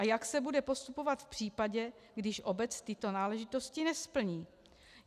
- A jak se bude postupovat v případě, když obec tyto náležitosti nesplní?